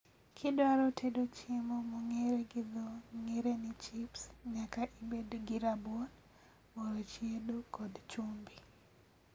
Kidwaro tedo chiemo mong'ere gi dho ng'ere ni chips nyaka ibed gi rabuon, mor chiedo kod chumbi